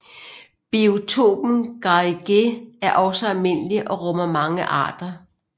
Biotopen Garrigue er også almindelig og rummer mange arter